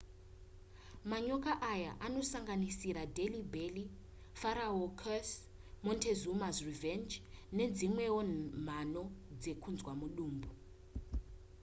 manyoka aya anosanganisira delhi belly pharaoh' curse montezuma's revenge nedzimwewo mhano dzekunzwa mudumbu